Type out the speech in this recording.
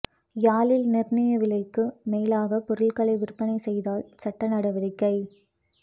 யாழில் நிர்ணய விலைக்கு மேலாகப் பொருட்களை விற்பனை செய்தால் சட்ட நடவடிக்கை